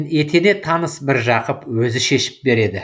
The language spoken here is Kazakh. етене таныс міржақып өзі шешіп береді